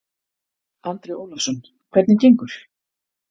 Andri Ólafsson: Hvernig gengur?